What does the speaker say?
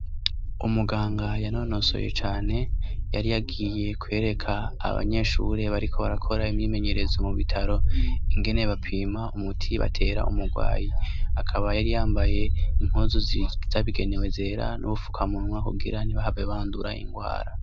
Umuganga yanonosoye cane, yari yagiye kwereka abanyeshure bariko barakora imyimenyerezo mu bitaro ingene bapima umuti batera umurwayi, akaba yari yambaye impuzu zabigenewe zera n'ubufukamunwa kugira ntibahave bandura ingwara.